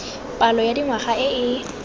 palo ya dingwaga e e